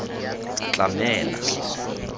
tlamela